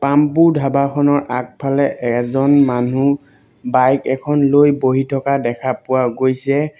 পাম্পু ধাবা খনৰ আগফালে এজন মানুহ বাইক এখন লৈ বহি থকা দেখা পোৱা গৈছে।